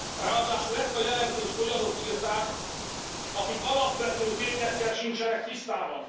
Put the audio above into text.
Ráadásul ezt a jelentést olyanok írták, akik az alapvető tényekkel sincsenek tisztában.